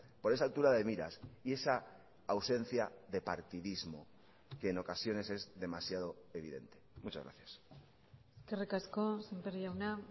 por esa altura de miras y esa ausencia de partidismo que en ocasiones es demasiado evidente muchas gracias eskerrik asko sémper jauna